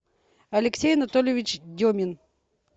алексей анатольевич демин